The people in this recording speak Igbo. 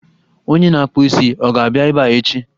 Onye na-akpụ isi, ọ ga-abịa ebe a echi?